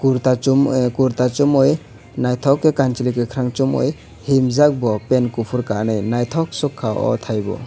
kurta chumui naithok khe kanchwlwi kwkhwrangkhe chumui himjak bo pant kuphur kanwi naithoksukha oh thaibo.